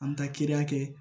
An bɛ taa kiiri kɛ